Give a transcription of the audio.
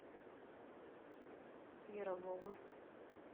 ярового